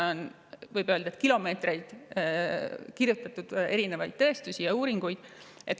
Võib öelda, et selle kohta on kilomeetreid erinevaid tõestusi ja uuringuid kirjutatud.